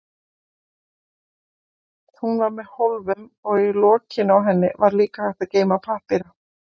Hún var með hólfum og í lokinu á henni var líka hægt að geyma pappíra.